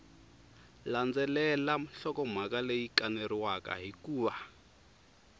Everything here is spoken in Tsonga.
landzelela nhlokomhaka leyi kaneriwaka hikuva